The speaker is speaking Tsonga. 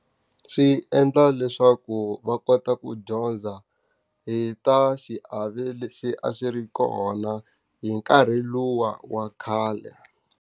Swi endla leswaku va kota ku dyondza hi ta xiave lexi a xi ri kona hi nkarhi luwa wa khale.